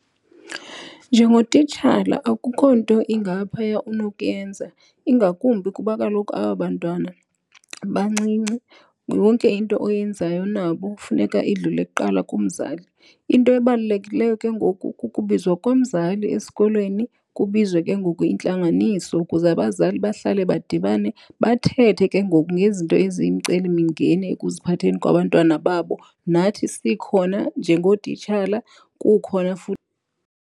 Njengotitshala akukho nto ingaphaya unokuyenza ingakumbi kuba kaloku aba bantwana bancinci. Yonke into oyenzayo nabo kufuneka idlule kuqala kumzali. Into ebalulekileyo ke ngoku kukubizwa komzali esikolweni, kubizwe ke ngoku intlanganiso ukuze abazali bahlale badibane bathethe ke ngoku ngezinto eziyimicelimingeni ekuziphatheni kwabantwana babo, nathi sikhona njengootitshala kukhona futhi.